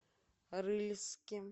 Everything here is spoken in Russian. рыльске